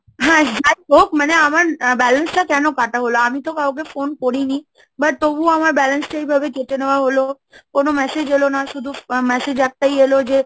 হ্যাঁ যাই হোক মানে আমার balance টা কেন কাটা হলো? আমি তো কাউকে phone করিনি, But তবুও আমার balance টা এইভাবে কেটে নেওয়া হলো, কোন massage এল না, শুধু বা massage একটাই এলো যে,